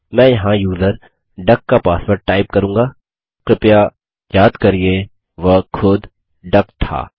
मैं यहाँ user duck का पासवर्ड टाइप करूँगा कृपया याद करिये वह खुद डक था